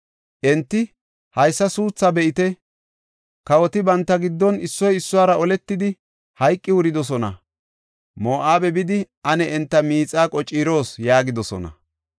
Enti, “Haysa suuthaa be7ite! Kawoti banta giddon issoy issuwara oletidi, hayqi wuridosona. Moo7abe bidi, ane enta miixaa qociroos” yaagidosona.